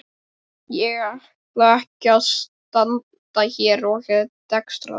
Ég ætla ekki að standa hér og dekstra þig.